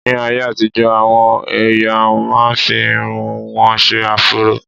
Ní ayé àtijọ́, àwọn èèyàn máa n fi irun wọn ṣe áfúró